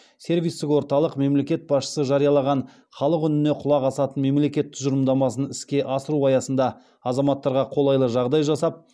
сервистік орталық мемлекет басшысы жариялаған халық үніне құлақ асатын мемлекет тұжырымдамасын іске асыру аясында азаматтарға қолайлы жағдай жасап